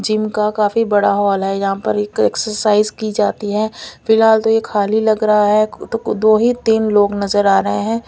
Gym का काफी बड़ा हॉल है यहां पर एक एक्सरसाइज की जाती है फिलहाल तो ये खाली लग रहा है तो दो ही तीन लोग नजर आ रहे हैं।